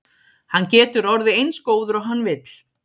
Hann getur orðið eins góður og hann vill.